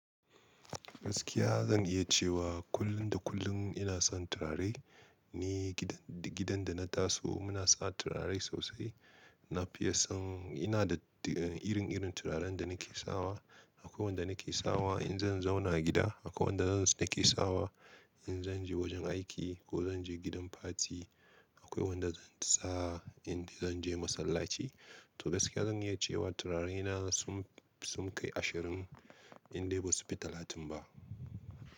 Gaskiya zan iya cewa kullum da kullum ina son turare, ni gidan da na taso muna sa turare sosai. Na fiye son ina da irin-irin turaren da na ke sawa. Akwai wanda na ke sawa in zan zauna a gida, akwai wanda na ke sawa in zan je wajen aiki ko zan je gidan fati, akwai wanda zan sa in zan je masallaci. To gaskiya zan iya cewa turare na sun kai ashirin, in dai ba su fi talatin ba.